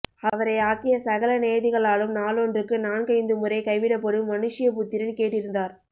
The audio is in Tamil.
அவரை ஆக்கிய சகல நியதிகளாலும் நாளொன்றுக்கு நான்கைந்து முறை கைவிடப்படும் மனுஷ்யபுத்திரன் கேட்டிருந்தார்